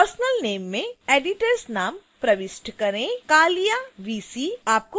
subfield a personal name में editors नाम प्रविष्ट करें